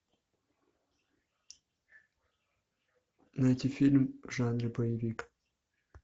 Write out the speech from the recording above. найти фильм в жанре боевик